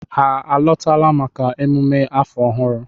Ha alọtala maka emume afọ ọhụrụ?